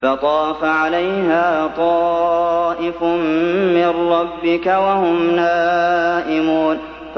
فَطَافَ عَلَيْهَا طَائِفٌ مِّن رَّبِّكَ وَهُمْ نَائِمُونَ